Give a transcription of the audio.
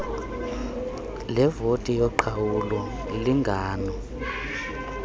levoti yoqhawulo lingano